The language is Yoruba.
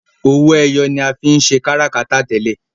owoeye ní a fín ṣe káràkátà tẹlẹ.